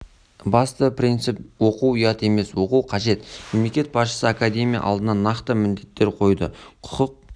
басты принцип оқу ұят емес оқу қажет мемлекет басшысы академия алдына нақты міндеттер қойды құқық